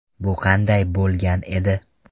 Bu qanday bo‘lgan edi?